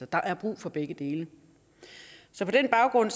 der er brug for begge dele på den baggrund